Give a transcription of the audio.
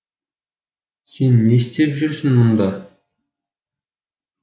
сен не істеп жүрсің мұнда